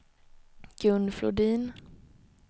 Gun Flodin